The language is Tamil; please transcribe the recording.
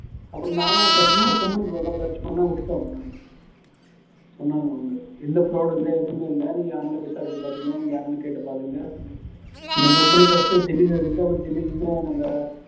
அப்புறம் நானும் சரி இன்னொரு company க்கு வந்தா search பண்ண அப்டினு நானும் சொன்னாங்க அவங்க எந்த fraud உம் இல்லை எதுவுமே இல்லை நீங்க யாரனாலும் விசாரிச்சு பாத்துக்கங்க எங்க வேணாலும் கேட்டு பாத்துக்கங்க என் company first டெல்லில இருந்தது அப்பறோம் டெல்லில இருந்து நாங்க